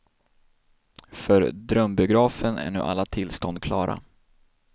För drömbiografen är nu alla tillstånd klara.